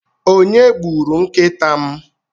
onye gburu nkịta m?